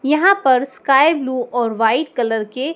यहां पर sky blue और वाइट कलर के।